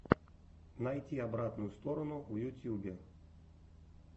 найти обратную сторону в ютьюбе